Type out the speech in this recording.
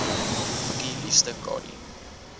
boekie liefste kadie